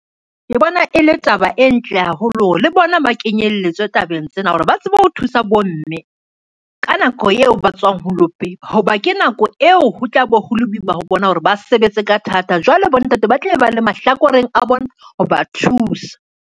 Ke bona e le taba e ntle haholo le bona ba kenyelletswe tabeng tsena hore ba tsebe ho thusa bomme, ka nako eo ba tswang ho lo pepa ho ba, ke nako eo ho tla bo hole boima ho bona hore ba sebetse ka thata jwale, bontate ba tla be ba le mahlakoreng a bona ho ba thusa.